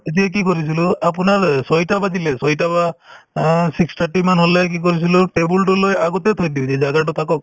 তেতিয়া কি কৰিছিলো আপোনাৰ অ ছয়টা বাজিলে ছয়টা বা অ six thirty মান হ'লে কি কৰিছিলো table তো লৈ আগতে থৈ দিও